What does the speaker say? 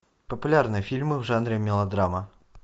популярные фильмы в жанре мелодрама